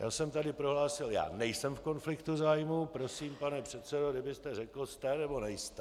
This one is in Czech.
Já jsem tady prohlásil: Já nejsem v konfliktu zájmu, prosím, pane předsedo, kdybyste řekl - jste, nebo nejste?